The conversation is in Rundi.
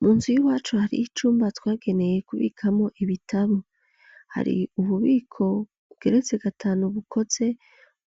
Munzu y'iwacu hariyo icumba twageneye kubikamwo ibitabo hari ububiko bugeretse gatanu bukoze